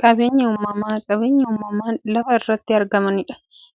Qaabeenyi uumamaa qabeenya uumamaan lafa irratti argamanii,